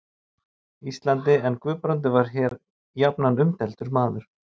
Íslandi, en Guðbrandur var hér jafnan umdeildur maður.